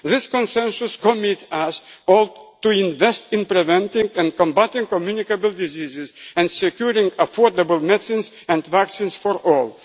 on Development. This consensus commits us to invest in preventing and combatting communicable diseases and securing affordable medicines and